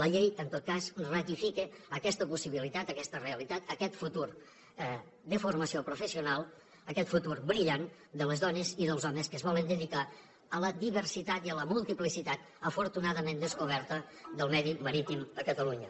la llei en tot cas ratifica aquesta possibilitat aquesta realitat aquest futur de formació professional aquest futur brillant de les dones i dels homes que es volen dedicar a la diversitat i a la multiplicitat afortunadament descoberta del medi marítim a catalunya